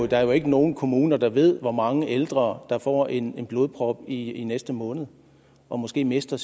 der er jo ikke nogen kommuner der ved hvor mange ældre der får en blodprop i i næste måned og måske mister